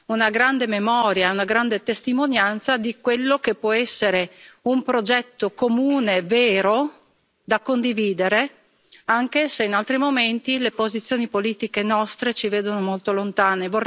una grande memoria e una grande testimonianza di quello che può essere un progetto comune vero da condividere, anche se in altri momenti le posizioni politiche nostre ci vedono molto lontani.